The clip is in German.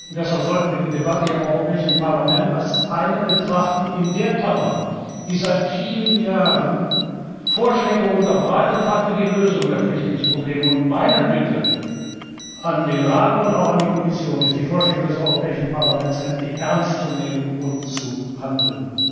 Deshalb sollten wir die Debatte hier im Europäischen Parlament als eine betrachten in der Kammer, die seit vielen Jahren Vorschläge für die Lösung der Flüchtlingsprobleme unterbreitet hat. Meine Bitte an den Rat und auch an die Kommission ist, die Vorschläge des Europäischen Parlaments endlich ernst zu nehmen und zu handeln.